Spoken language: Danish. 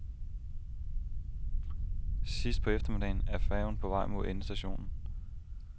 Sidst på eftermiddagen er færgen på vej mod endestationen.